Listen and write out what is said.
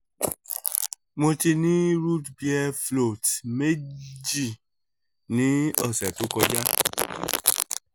mo ti ni root beer floats meji ni ọsẹ to koja